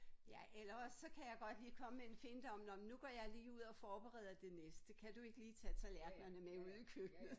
Ja eller også så kan jeg godt lige komme med en finte om nåh men nu går jeg lige ud og forbereder det næste kan du ikke lige tage tallerkenerne med ud i køkkenet?